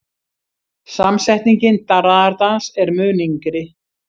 Samsetningin darraðardans er mun yngri.